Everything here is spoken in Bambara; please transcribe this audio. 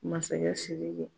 Masakɛ SIRIKI.